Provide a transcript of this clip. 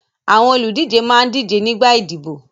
Àwọn olùdíje máa ń díje nígbà ìdìbò.